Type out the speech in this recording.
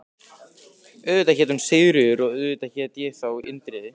Auðvitað hét hún Sigríður og auðvitað hét ég þá Indriði.